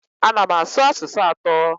Ana m asụ asụsụ atọ.